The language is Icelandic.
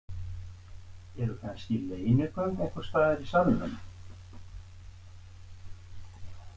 Eru kannski leynigöng einhvers staðar í salnum?